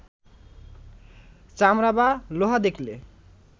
চামড়া বা লোহা দেখলে